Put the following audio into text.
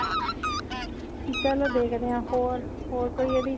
ਚਲੋ ਦੇਖਦੇ ਹਾਂ ਹੋਰ ਹੋਰ ਕੋਈ ਇਹਦੀ